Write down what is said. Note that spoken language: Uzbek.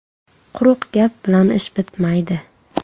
Quruq gap bilan ish bitmaydi.